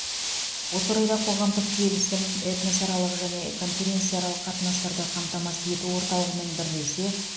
осы орайда қоғамдық келісім этносаралық және конференсияаралық қатынастарды қамтамасыз ету орталығымен бірлесе